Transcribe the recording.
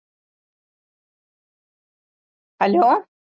hello